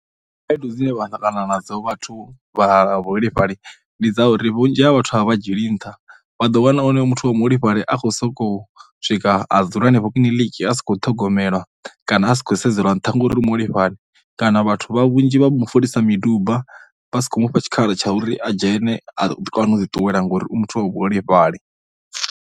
Khaedu dzine vha ḓo ṱangana nadzo vhathu vha vhuholefhali ndi dza uri vhunzhi ha vhathu a vha vha dzhieli nṱha. Vha ḓo wana onoyo muthu wa muholefhali a khou sokou swika a dzula henefho kiliniki a si khou imelwa kana a si khou sedzelwa nṱha ngauri ndi muholefhali kana vhathu vha vhunzhi vha mu folisa miduba vha si khou mu fha tshikhala tsha uri a dzhene kana a kone u ḓiṱuwela ngori u muthu wa vhuholefhali.